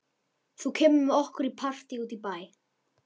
Þú kemur með okkur í partí út í bæ.